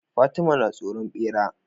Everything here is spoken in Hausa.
Fatima na tsoron bera